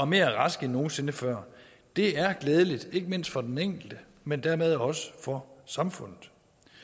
mere raske end nogen sinde før det er glædeligt ikke mindst for den enkelte men dermed også for samfundet